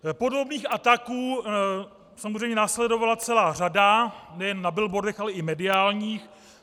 Podobných ataků samozřejmě následovala celá řada, nejen na billboardech, ale i mediálních.